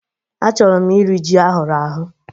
Achọrọ m iri ji ahụrụ ahụ̀